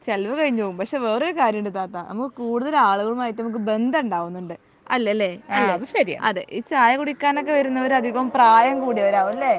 ചെലവ് കഴിഞ്ഞു പോവും പക്ഷെ വേറൊരു കാര്യം ഉണ്ട് താത്ത നമുക്ക് കൂടുതൽ ആളുകളുമായിട്ട് നമുക്ക് ബന്ധം ഉണ്ടാവുന്നുണ്ട് അല്ലെ ലെ അല്ലെ ഈ ചായ കുടിക്കാൻ ഒക്കെ വരുന്നവർ അധികം പ്രായം കൂടിയവരാവും അല്ലെ